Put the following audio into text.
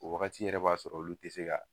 O wagati yɛrɛ b'a sɔrɔ olu ti se ka